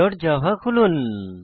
checkoutservletজাভা খুলুন